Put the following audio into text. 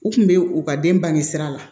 U kun be u ka den bange sira la